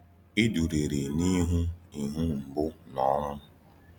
Ịdụrịrị n’ihu ihu mgbu na ọnwụ.